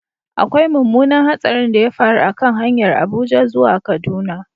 Akwai mummunan hatsarin da ya faru a kan hanyar Abuja zuwa Kaduna.